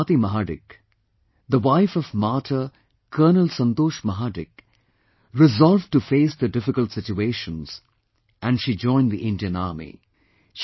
But Swati Mahadik, the wife of martyr colonel Santosh Mahadik resolved to face the difficult situations and she joined the Indian Army